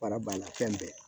Baara banna fɛn bɛɛ